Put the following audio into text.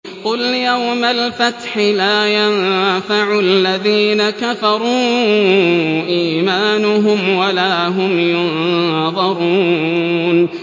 قُلْ يَوْمَ الْفَتْحِ لَا يَنفَعُ الَّذِينَ كَفَرُوا إِيمَانُهُمْ وَلَا هُمْ يُنظَرُونَ